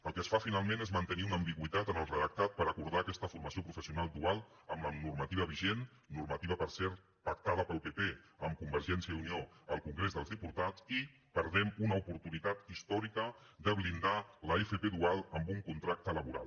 el que es fa finalment és mantenir una ambigüitat en el redactat per acordar aquesta formació professional dual amb la normativa vigent normativa per cert pactada pel pp amb convergència i unió al congrés dels diputats i perdem una oportunitat històrica de blindar l’fp dual amb un contracte laboral